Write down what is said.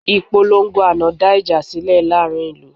Ìpolongo àná dá ìjà sílẹ̀ láàrin ìlú